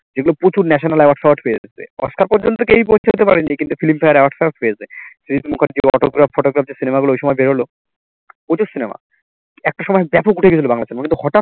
যেগুলো প্রচুর national award ফেওয়ার্ড পেয়েছে অস্কার পর্যন্ত কেউ পৌঁছতে পারে নি কিন্তু film fair award ফেওয়ার্ড পেয়েছে, সৃজিত মুখার্জীর autograph photograph যে cinema গুলো ওই সময় বেরোলো প্রচুর cinema একটা সময় ব্যাপক উঠে গেছিলো বাংলা cinema কিন্তু হটাৎ